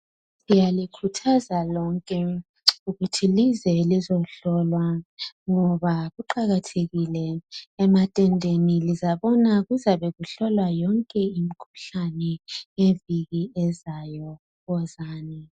Siyalikhuthaza lonke ukuthi lize lizohlolwa ngoba kuqakathekile ematendeni lizabona kuzabe kujlolwa yonke imikhuhlane ngeviki ezayo wozani